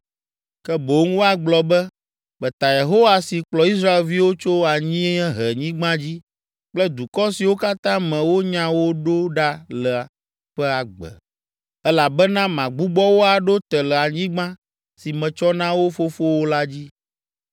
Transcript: Ke boŋ woagblɔ be, ‘Meta Yehowa si kplɔ Israelviwo tso anyiehenyigba dzi kple dukɔ siwo katã me wonya wo ɖo ɖa la ƒe agbe.’ Elabena magbugbɔ wo aɖo te le anyigba si metsɔ na wo fofowo la dzi.